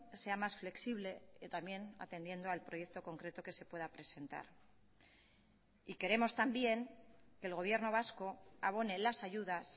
sea más flexible que también atendiendo al proyecto concreto que se pueda presentar y queremos también que el gobierno vasco abone las ayudas